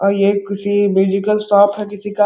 और ये किसी म्यूजिकल शॉप है किसी का।